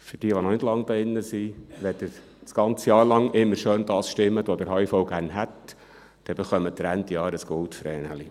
– Für jene, die noch nicht lange im Grossen Rat sind: Wenn Sie während des ganzen Jahrs immer schön das stimmen, was der HIV gerne hätte, erhalten Sie Ende Jahr ein «Goldvreneli».